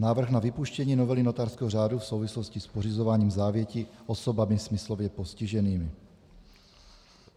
Návrh na vypuštění novely notářského řádu v souvislosti s pořizováním závěti osobami smyslově postiženými.